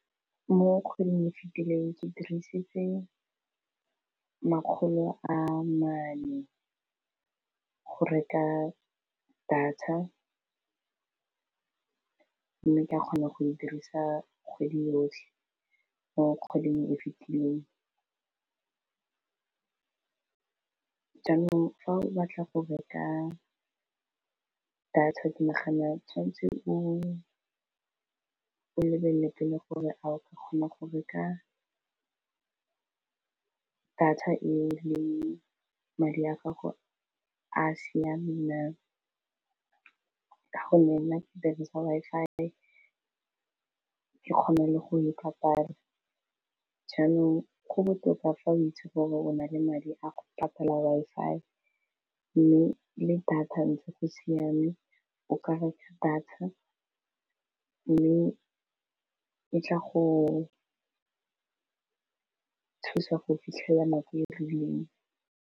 Mo kgweding e fitileng ke dirisitse makgolo a mane go reka data mme ka kgone go e dirisa kgwedi yotlhe, mo kgweding e fitileng. Jaanong fa o batla go reka data tshwanetse o lebelele pele gore a o ka kgona go reka data e leng madi a gago a siame na, ka go nne nna ke dirisa Wi-Fi ke kgone le go e patala jaanong go botoka fa o itse gore o na le madi a go patala Wi-Fi, mme le data ntse go siame o ka reka data mme e tla go thusa go fitlhelela madi a rileng.